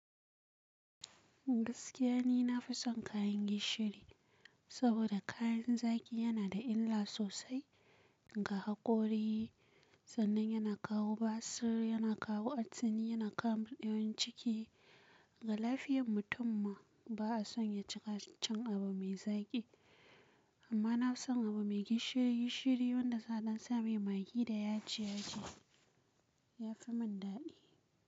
Gaskiya ni na fi son kayan gishiri, saboda kayan zaki yana da illa sosai ga hakori, sannan yana kawo basir, yana kawo atsini, yana kawo murdewan ciki. Ga lafiyan mutum ma ba a son ya cika cin abu mai zaki. Amma na fi son abu mai gishiri gishiri wanda saɗan sa mai maggi da yaji yaji yafi mun daɗi.